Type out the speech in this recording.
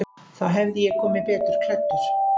Þá hefði ég komið betur klæddur.